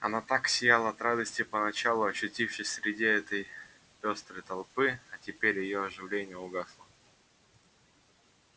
она так сияла от радости поначалу очутившись среди этой пёстрой толпы а теперь её оживление угасло